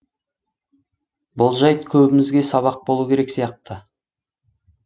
бұл жайт көбімізге сабақ болу керек сияқты